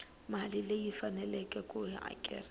mali leyi faneleke ku hakerisiwa